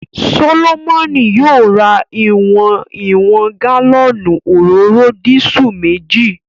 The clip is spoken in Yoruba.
Solomoni yóò ra ìwọ̀n ìwọ̀n gálọ́ọ̀nù òróró disú meji